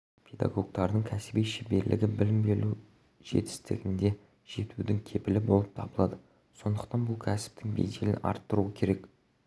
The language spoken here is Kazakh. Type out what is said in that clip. педагогтардың кәсіби шеберлігі білім беруде жетістікке жетудің кепілі болып табылады сондықтан бұл кәсіптің беделін арттыру керек